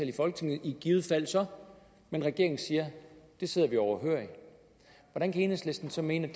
i folketinget i givet fald så men regeringen siger at det sidder vi overhørig hvordan kan enhedslisten så mene